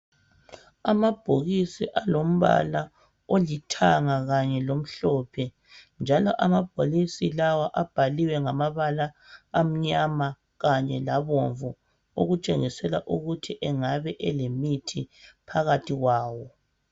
Amabhokisi alombala olithanga kanye lomhlophe njalo amabhokisi lawa abhaliwe ngamabala amnyama kanye labomvu okutshengisela ukuthi engabe elemithi phakathi kwawo